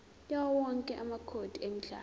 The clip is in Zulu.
yawowonke amacode emidlalo